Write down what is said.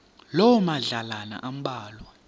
loo madlalana ambalwa